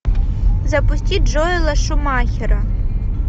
запусти джоэла шумахера